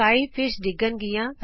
ਅਸਮਾਨੋ ਮੱਛੀਆਂ ਡਿੱਗਨ ਗਿਆਂ